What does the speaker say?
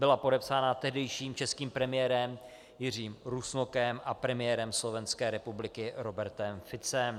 Byla podepsána tehdejším českým premiérem Jiřím Rusnokem a premiérem Slovenské republiky Robertem Ficem.